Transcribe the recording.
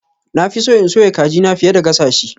Na fi so in soya kajina fiye da gasa shi.